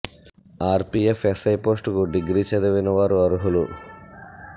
are PF SI post కు degree చదివిన వారు అర్హులు